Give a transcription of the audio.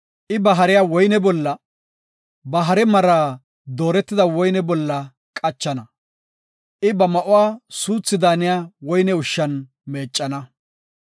I ba hariya woyne bolla, ba hare mara dooretida woyne bolla qachana; I ba ma7uwa suuthi daaniya woyne ushshan meeccana.